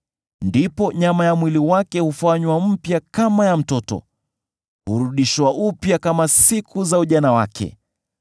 ndipo nyama ya mwili wake hufanywa mpya kama ya mtoto; hurudishwa upya kama siku za ujana wake.